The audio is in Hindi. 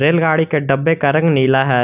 रेलगाड़ी के डब्बे का रंग नीला है।